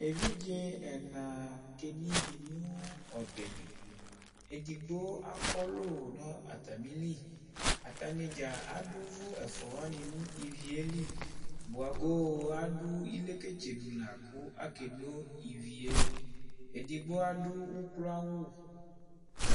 Evidze ɛna keno ivi nʋ ɔbɛ li Edigbo akɔlʋ nʋ atamili Atani dza adu uvu ɛfʋa wani nʋ ivi yɛ li Bʋagoo adu ileketsenu lakʋ akeno ivie Edigbo adu ukloawu